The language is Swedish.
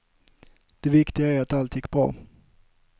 Det viktiga är att allt gick bra.